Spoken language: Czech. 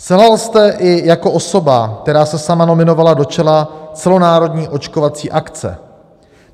Selhal jste i jako osoba, která se sama nominovala do čela celonárodní očkovací akce.